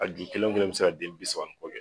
A ju kelen o kelen be se ka den bisa ni kɔ kɛ